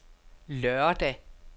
lørdag